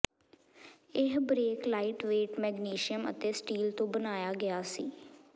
ਇਹ brake lightweight magnesium ਅਤੇ steel ਤੋਂ ਬਣਾਇਆ ਗਿਆ ਸੀ